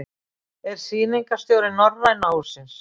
Er Sýningarstjóri Norræna hússins.